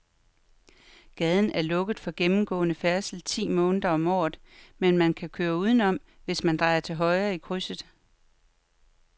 Gaden er lukket for gennemgående færdsel ti måneder om året, men man kan køre udenom, hvis man drejer til højre i krydset.